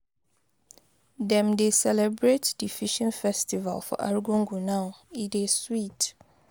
Dem dey celebrate di fishing festival for Argungu now, e dey sweet.